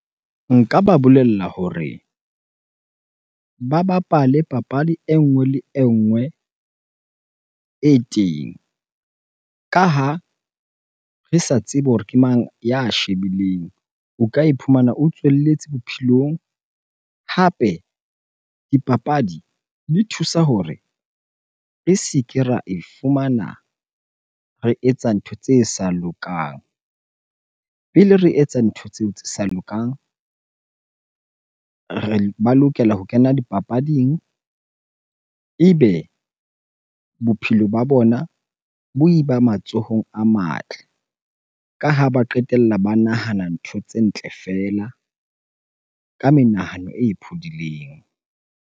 Nka ba bolella hore ba bapale papadi e nngwe le e nngwe e teng, ka ha re sa tsebe hore ke mang ya shebileng. O ka iphumana o tswelletse bophelong. Hape dipapadi di thusa hore re se ke ra e fumana re etsa ntho tse sa lokang. Pele re etsa ntho tseo tse sa lokang, ba lokela ho kena dipapading ebe bophelo ba bona bo eba matsohong a matle. Ka ha ba qetella ba nahana ntho tse ntle feela ka menahano e phodileng.